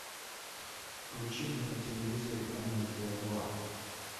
включи мне на телевизоре амедиа два